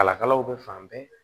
Kalakalaw bɛ fan bɛɛ